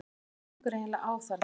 HVAÐ GENGUR EIGINLEGA Á ÞARNA?